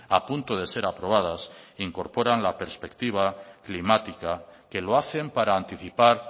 a punto de ser aprobadas incorporan la perspectiva climática que lo hacen para anticipar